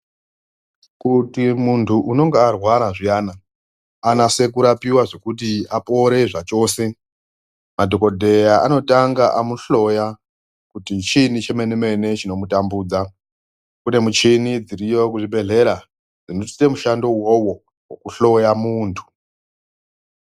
Kuti muntu unenge arwara zviyana anase kurapiwa zvekuti apore zvachose. Madhogodheya anotanga amuhloya kuti chiini chemene-mene chinomutambudza, kunemichini dziriyo kuzvibhedhlera zvinosise mushando ivovo vekuhloya muntu.